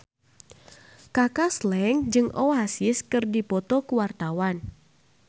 Kaka Slank jeung Oasis keur dipoto ku wartawan